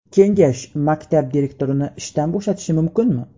Kengash maktab direktorini ishdan bo‘shatishi mumkinmi?